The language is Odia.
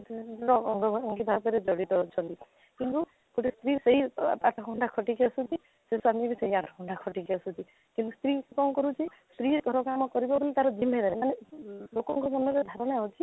ଆଃ ସବୁ ଜଡିତ ଅଛନ୍ତି କିନ୍ତୁ ଗୋଟେ ସ୍ତ୍ରୀ ସେଇ ଆଠ ଘଣ୍ଟା ଖଟିକି ଆସୁଛି ସେଇ ସ୍ୱାମୀ ବି ଆଠ ଘଣ୍ଟା ଖଟିକି ଆସୁଛି କିନ୍ତୁ ସ୍ତ୍ରୀ କ'ଣ କରୁଛି ସ୍ତ୍ରୀ ଧରାଯାଉ ଆମ ପରିବାରରେ ହିଁ ତା'ର ଦିନ ଯାଏ କିନ୍ତୁ ଲୋକଙ୍କ ମନରେ ଭାବନା ଅଛି